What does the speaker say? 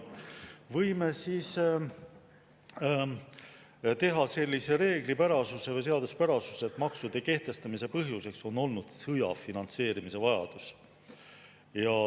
Võime täheldada sellist reeglipärasust või seaduspärasust, et maksude kehtestamise põhjus on olnud sõja finantseerimise vajadus.